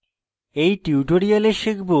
in tutorial শিখব: